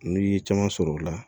N'i ye caman sɔrɔ o la